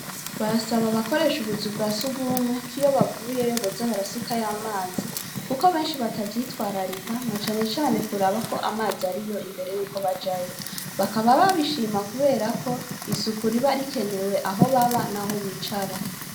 Barasaba abakoresha ubuzu bwa sugumwe, ko iyo bavuyeyo boza barasukayo amazi, kuko benshi batavyitwararika na cane cane kuraba ko amazi ariyo imbere y'uko bajayo, bakaba babishima kubera ko isuku riba rikenewe aho baba, n'aho bicara.